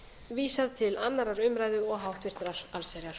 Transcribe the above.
vísað til annarrar umræðu og háttvirtrar allsherjar